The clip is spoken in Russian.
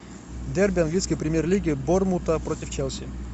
дерби английской премьер лиги борнмута против челси